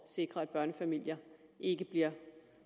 sikre at børnefamilier ikke bliver